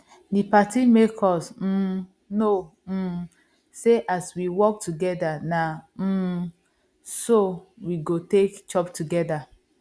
the party make us um know um say as we work together na um so we go take chop together